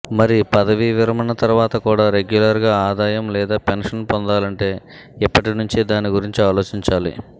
మరి పదవీ విరమణ తర్వాత కూడా రెగ్యులర్గా ఆదాయం లేదా పెన్షన్ పొందాలంటే ఇప్పటినుంచే దాని గురించి ఆలోచించాలి